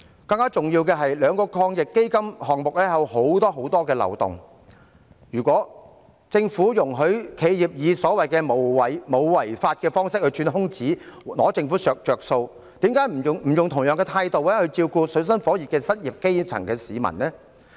更重要的是，兩輪防疫抗疫基金的項目有很多漏洞，如果政府容許企業以所謂沒有違法的方式來鑽空子，佔政府便宜，為甚麼不能用同樣的態度來照顧正處於水深火熱的失業基層市民呢？